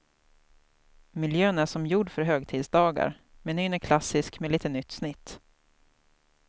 Miljön är som gjord för högtidsdagar, menyn är klassisk med lite nytt snitt.